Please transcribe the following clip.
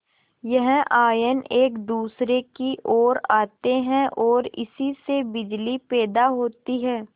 यह आयन एक दूसरे की ओर आते हैं ओर इसी से बिजली पैदा होती है